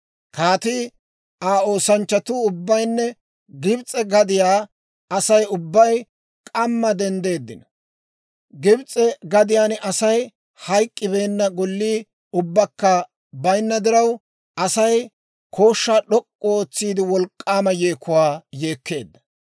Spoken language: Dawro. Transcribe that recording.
Kaatii, Aa oosanchchatuu ubbaynne Gibs'e gadiyaa Asay ubbay k'amma denddeeddino. Gibs'e gadiyaan Asay hayk'k'ibeenna Gollii ubbakka baynna diraw, Asay kooshshaa d'ok'k'u ootsiide wolk'k'aama yeekuwaa yeekkeedda.